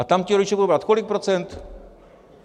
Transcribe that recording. A tam ti rodiče budou brát kolik procent?